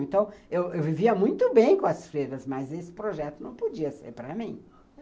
Então, eu vivia muito bem com as feiras, mas esse projeto não podia ser para mim.